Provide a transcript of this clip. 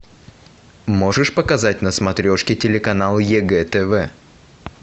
можешь показать на смотрешке телеканал егэ тв